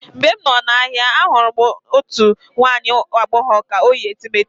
Mgbe m nọ n'ahịa, ahụrụ m otu nwa agbọghọ ka o yi etemeete.